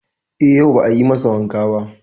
E, yau ba a yi masa wanka ba.